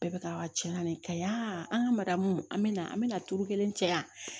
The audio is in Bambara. Bɛɛ bɛ ka cɛn na nin kaɲan an ka maridamu an bɛ na an bɛna turu kelen caya